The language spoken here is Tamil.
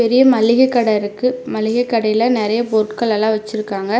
பெரிய மளிகை கட இருக்கு மளிகை கடைல நெறைய பொருட்கள்லல்லா வச்சுருக்காங்க.